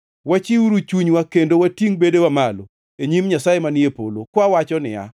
Wachiwuru chunywa kendo watingʼ bedewa malo e nyim Nyasaye manie polo, kawawacho niya,